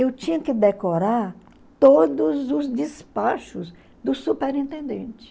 eu tinha que decorar todos os despachos do superintendente.